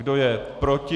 Kdo je proti?